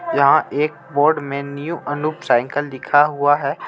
यहाँ एक बोर्ड में न्यू अनूप साइकिल लिखा हुआ है.